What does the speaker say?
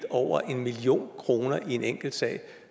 over en million kroner i en enkeltsag